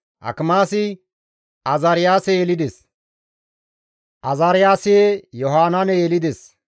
Akimaasi Azaariyaase yelides; Azaariyaasi Yohanaane yelides;